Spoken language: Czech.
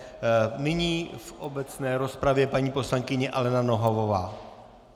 Nyní v obecné rozpravě paní poslankyně Alena Nohavová.